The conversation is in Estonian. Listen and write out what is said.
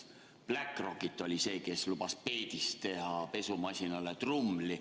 Bläck Rokit oli see, kes lubas peedist teha pesumasinale trumli.